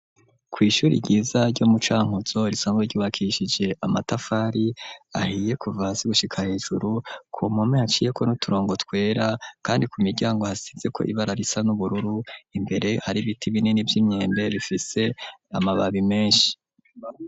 Kw’ishuri ryiza ryo mu cankuzo risanzwe ryubakishije amatafari ahiye kuva hasi gushika hejuru ,kumpome haciyeko n'uturongo twera kandi ku miryango hasizeko ibara risa n'ubururu imbere hari ibiti binini vy'imyembe bifise amababi menshi.